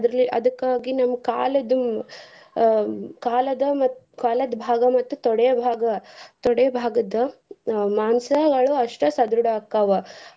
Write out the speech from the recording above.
ಅದ್ರಲೇ ಅದಕ್ಕಾಗಿ ನಮ್ ಕಾಲ್ದು ಅಹ್ ಕಾಲದ್ ಮತ್ತ್ ಕಾಲದ್ ಭಾಗ ಮತ್ತ್ ತೊಡೆ ಭಾಗ, ತೊಡೆ ಭಾಗದ್ದು ಮಾಂಸಗಳು ಅಸ್ಟ ಸದೃಡ ಆಕ್ಕಾವ.